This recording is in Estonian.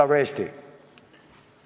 Elagu Eesti!